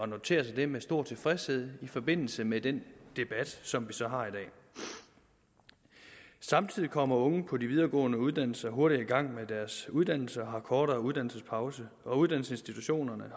notere sig det med stor tilfredshed i forbindelse med den debat som vi så har i dag samtidig kommer unge på de videregående uddannelser hurtigere i gang med deres uddannelse og har kortere uddannelsespauser og uddannelsesinstitutionerne